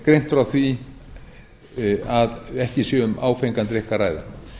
greint frá því að ekki sé um áfengan drykk að ræða